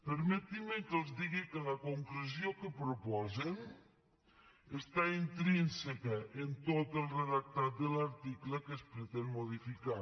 permetin me que els digui que la concreció que proposen és intrínseca a tot el redactat de l’article que es pretén modificar